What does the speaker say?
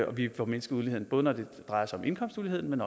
vi får mindsket uligheden både når det drejer sig om indkomstuligheden men